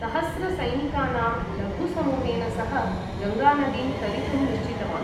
सहस्रसैनिकानाम् लघुसमूहेन सह गङ्गानदीं तरितुं निश्चितवान्।